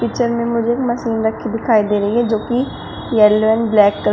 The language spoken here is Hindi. पिक्चर में मुझे एक मशीन रखी दिखाई दे रही है जो कि येलो एंड ब्लैक कलर --